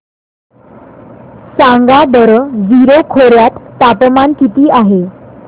सांगा बरं जीरो खोर्यात तापमान किती आहे